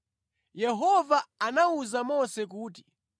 Yehova anawuza Mose kuti,